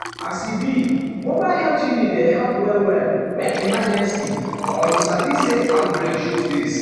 as e be mobile health unit dey help well-well when emergency or you sabi say outbreak show face.